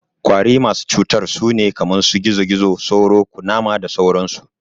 Ƙwari masu cutar sune kaman su, gizo-gizo, sauro, Ƙunama da sauran su